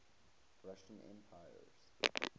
russian emperors